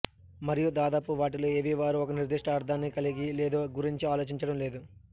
మరియు దాదాపు వాటిలో ఏవీ వారు ఒక నిర్దిష్ట అర్థాన్ని కలిగి లేదో గురించి ఆలోచించడం లేదు